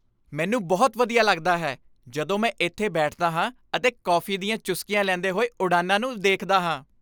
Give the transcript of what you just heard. ਮੈਨੂੰ ਬਹੁਤ ਵਧੀਆ ਲੱਗਦਾ ਹੈ ਜਦੋਂ ਮੈਂ ਇੱਥੇ ਬੈਠਦਾ ਹਾਂ ਅਤੇ ਕੌਫੀ ਦੀਆਂ ਚੁਸਕੀਆਂ ਲੈਂਦੇ ਹੋਏ ਉਡਾਣਾਂ ਨੂੰ ਦੇਖਦਾ ਹਾਂ।